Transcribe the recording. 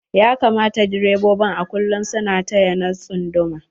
Ya kamata direbobi a kullum su na taya na tsunduma.